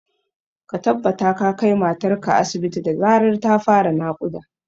Ka tabbata ka kai matar ka asibit da zarar ta fara naƙuda